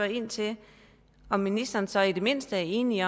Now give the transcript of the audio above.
ind til om ministeren så i det mindste er enig